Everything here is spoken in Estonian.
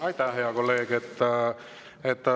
Aitäh, hea kolleeg!